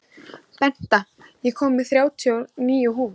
Benta, ég kom með þrjátíu og níu húfur!